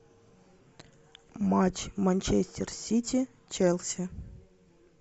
матч манчестер сити челси